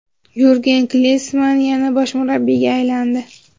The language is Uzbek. Yurgen Klinsmann yana bosh murabbiyga aylandi.